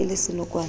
e ne e le senokwane